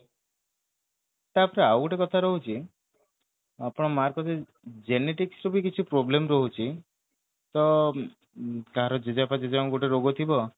ଟା ପରେ ଆଉ ଗୋଟେ କଥା ରହୁଛି ଆଉ ତ ମାର ସେଇ genetics ରେ ବି କିଛି problem ରହୁଛି ତ ତାର ଜେଜେ ବାପା ଜେଜେ ମାଙ୍କୁ ଗୋଟେ ରୋଗ ଥିବ